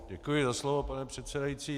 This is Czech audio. Děkuji za slovo, pane předsedající.